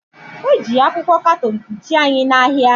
Eji akwụkwọ katọn kpuchie anyị na ahịa